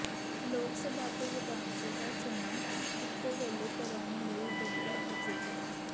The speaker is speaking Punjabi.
ਲੋਕ ਸਭਾ ਤੇ ਵਿਧਾਨ ਸਭਾ ਚੋਣਾਂ ਇੱਕੋ ਵੇਲੇ ਕਰਾਉਣ ਲਈ ਡਟੀ ਬੀਜੇਪੀ